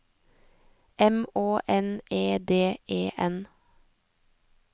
M Å N E D E N